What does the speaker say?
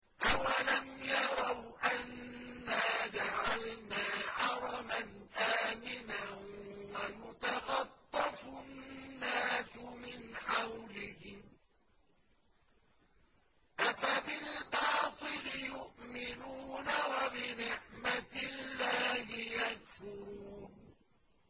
أَوَلَمْ يَرَوْا أَنَّا جَعَلْنَا حَرَمًا آمِنًا وَيُتَخَطَّفُ النَّاسُ مِنْ حَوْلِهِمْ ۚ أَفَبِالْبَاطِلِ يُؤْمِنُونَ وَبِنِعْمَةِ اللَّهِ يَكْفُرُونَ